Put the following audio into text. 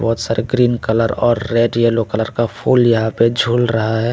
बहुत सारे green colour और रेड येलो कलर का फूल पे यहा झूल रहा है।